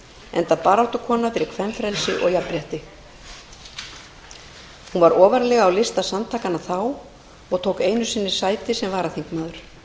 enda baráttukona fyrir kvenfrelsi og jafnrétti hún var ofarlega á lista samtakanna þá og tók einu sinni sæti sem varaþingmaður